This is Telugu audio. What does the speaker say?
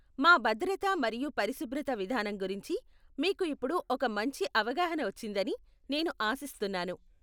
మా భద్రత మరియు పరిశుభ్రత విధానం గురించి మీకు ఇప్పుడు ఒక మంచి అవగాహన వచ్చిందని నేను ఆశిస్తున్నాను.